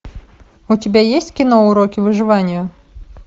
у тебя есть кино уроки выживания